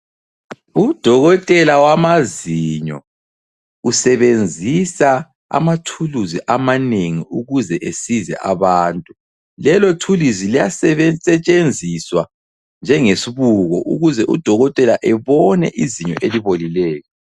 Udokotela wamazinyo usebenzisa amathuluzi amanengi ukuze esize abantu. Lelo thuluzi liyasetshenziswa njengesbuko ukuze udokotela ebone izinyo elibolileyo.